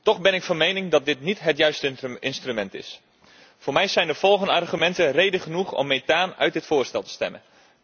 Toch ben ik van mening dat dit niet het juiste instrument is. Voor mij zijn de volgende argumenten reden genoeg om methaan uit het voorstel te stemmen.